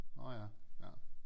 Nårh ja ja